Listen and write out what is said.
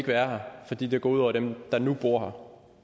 være der fordi det går ud over dem der nu bor